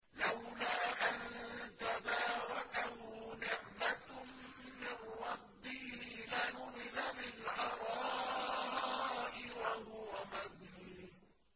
لَّوْلَا أَن تَدَارَكَهُ نِعْمَةٌ مِّن رَّبِّهِ لَنُبِذَ بِالْعَرَاءِ وَهُوَ مَذْمُومٌ